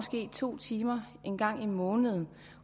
to timer en gang om måneden